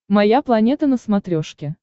моя планета на смотрешке